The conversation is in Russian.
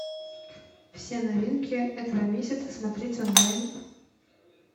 все новинки этого месяца смотреть онлайн